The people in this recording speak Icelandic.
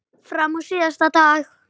Fram á síðasta dag.